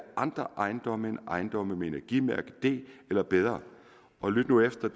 andre ejendomme end ejendomme med energimærke d eller bedre og lyt nu efter